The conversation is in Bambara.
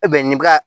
nin bɛ ka